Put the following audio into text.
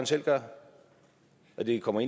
selv gør og det kommer